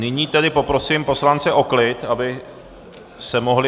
Nyní tedy poprosím poslance o klid, aby se mohli...